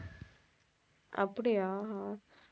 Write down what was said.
அப்படியா